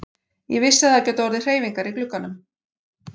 Ég vissi að það gætu orðið hreyfingar í glugganum.